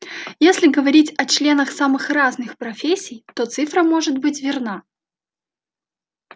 если говорить о членах самых разных профессий то цифра может быть верна